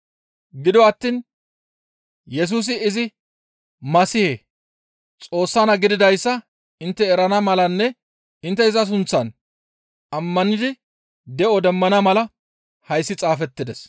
Gido attiin Yesusi izi Masihe, Xoossa naa gididayssa intte erana malanne intte iza sunththan ammanidi de7o demmana mala hayssi xaafettides.